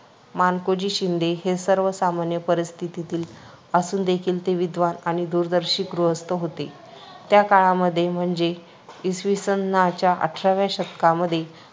मानकोजी शिंदे हे सर्वसामान्य परिस्थितीतील असूनदेखील ते विद्वान आणि दूरदर्शी गृहस्थ होते. त्या काळामध्ये म्हणजे इसवीसनाच्या अठराव्या शतकामध्ये